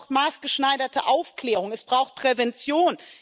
Es braucht maßgeschneiderte Aufklärung, es braucht Prävention.